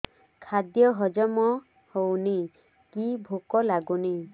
ଖାଦ୍ୟ ହଜମ ହଉନି କି ଭୋକ ଲାଗୁନି